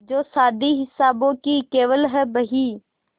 जो शादी हिसाबों की केवल है बही